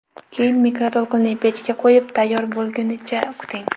Keyin mikroto‘lqinli pechga qo‘yib, tayyor bo‘lgunicha kuting.